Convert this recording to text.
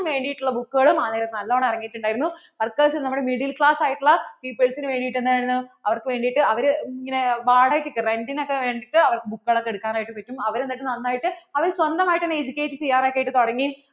വേണ്ടിട്ടുള്ള book കളും ഒക്കെ നല്ലോണം ഇറങ്ങിയിട്ട് ഉണ്ടായിരുന്നു workers നമ്മൾ middle class ആയിട്ട് ഉള്ള peoples നു വേണ്ടിട്ട് എന്തായിരുന്നു അവർക്കു വേണ്ടിട്ട് അവര് ഇങ്ങനെ വാടകയ്ക്ക് ഒക്കെ rent ഒക്കെ വേണ്ടിട്ട് book കളൊക്കെ എടുക്കാനായിട്ട് പറ്റും അവർ എന്നിട്ട് നന്നായിട്ട് അവര്‍ സ്വന്തമായിട്ട് തന്നേ educate ചെയ്യാറ് ഒക്കെ തുടങ്ങി